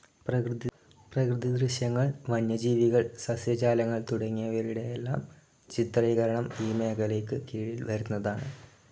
പ്രകൃതി ദൃശ്യങ്ങൾ, വന്യജീവികൾ, സസ്യജാലങ്ങൾ തുടങ്ങിയവയുടെയെല്ലാം ചിത്രീകരണം ഈ മേഖലയ്ക്ക് കീഴിൽ വരുന്നതാണ്.